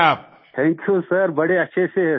मंजूर जी थैंक्यू सरबड़े अच्छे से हैं सर